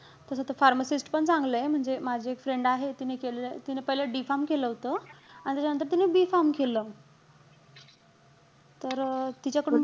तस तर pharmacist पण चांगलंय. म्हणजे माझी एक friend आहे. तिने केलेलं. तिने पहिले D pharm केलं होत. अन त्याच्यानंतर तिने B pharm केलं. तर तिच्याकडून,